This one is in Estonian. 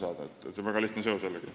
See on jällegi üks väga lihtne seos.